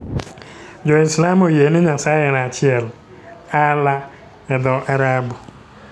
Jo-Islam oyie ni Nyasaye en achiel. Allah e dho-Arabu.